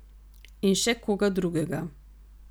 In še koga drugega?